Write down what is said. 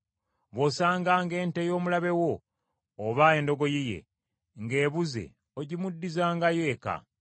“Bw’osanganga ente y’omulabe wo, oba endogoyi ye, ng’ebuzze ogimuddizangayo eka.